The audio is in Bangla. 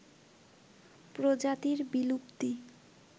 প্রজাতির বিলুপ্তি